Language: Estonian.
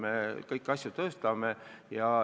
Me kõiki makse tõstame.